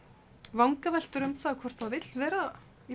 vangaveltur um það hvort það vilji vera í